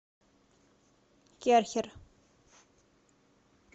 керхер